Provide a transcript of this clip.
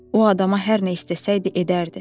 O adama hər nə istəsəydi edərdi.